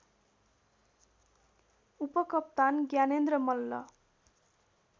उपकप्तान Gyanendra Malla